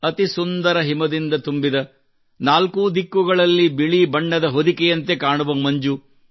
ಅತಿ ಸುಂದರ ಹಿಮದಿಂದ ತುಂಬಿದ ನಾಲ್ಕೂ ದಿಕ್ಕುಗಳಲ್ಲಿ ಬಿಳಿ ಬಣ್ಣದ ಹೊದಿಕೆಯಂತೆ ಕಾಣುವ ಮಂಜು